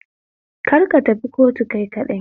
Kar tafi kotu kai kaɗai